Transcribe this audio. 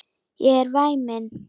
Ég er væmin.